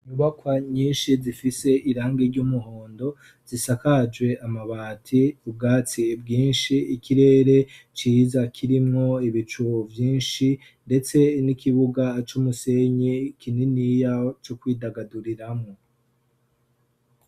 inubakwa nyinshi zifise irangi ry'umuhondo zisakaje amabati ubwatsi bwinshi ikirere ciza kirimwo ibicu byinshi ndetse n'ikibuga c'umusenyi kininiya cyo kwidagaduriramwo